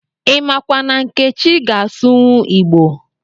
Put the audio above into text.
imakwa na nkechi ga-asụwu Igbo